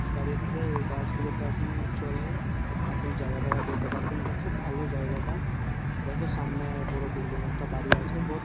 দাঁড়িয়ে থাকে এই বাস -গুলোতে আপনি চড়ে আপনি জাগা জাগা যেতে পারবেন এটা খুব ভালো জায়গাটা দেখ সামনে বড় বিল্ডিং একটা বাড়ি আছে বহুত--